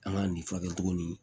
An ka nin furakɛ cogo nin